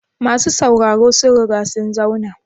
Masu sauraro sun riga sun zauna?